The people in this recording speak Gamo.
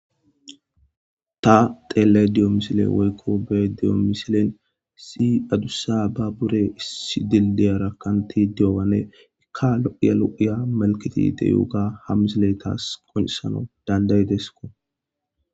Ta xeellay diyo misile woykko be diyo misilen si adussa ba bure issi dildeyara kkanti diyowane ikka lo'ya lo'ya malketi deyuuga ha misile tas qonesano danday desko.